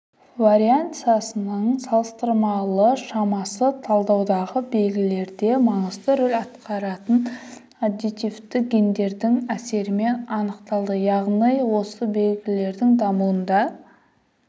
вариансасының салыстырмалы шамасы талдаудағы белгілерде маңызды рөл атқаратын аддитивті гендердің әсерімен анықталды яғни осы белгілердің дамуында